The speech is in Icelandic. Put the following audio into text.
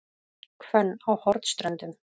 Hvönn á Hornströndum